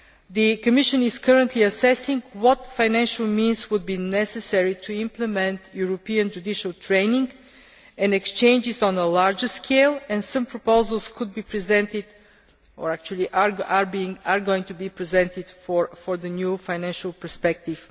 The Commission is currently assessing what financial means would be necessary to implement European judicial training and exchanges on a larger scale and some proposals could be presented, or actually are going to be presented, for the new financial perspective.